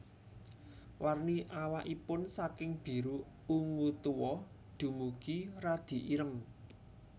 Warni awakipun saking biru ungu tua dumugi radi ireng